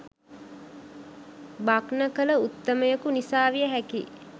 භග්න කළ උත්තමයකු නිසා විය හැකියි.